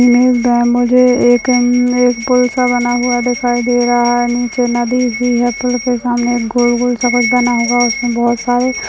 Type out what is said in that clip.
हम्म मुझे एक हम्म एक बुरसा बनाई हुई दिखाई दे रहा है नीचे नदी सी है सामने एक गोल गोल सडक बना हुआ है उसमे बहुत सारे --